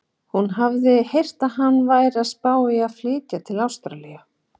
Hún hafði heyrt að hann væri að spá í að flytja til Ástralíu.